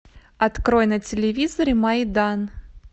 открой на телевизоре майдан